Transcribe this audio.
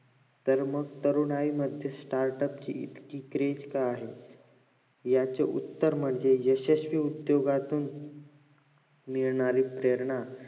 तर मग तरुणाई मध्ये startup ची इतकी craze का आहे याचे उत्तर म्हणजे यशस्वी उद्दोगातून येणारी प्रेरणा